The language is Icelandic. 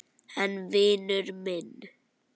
En vinur minn.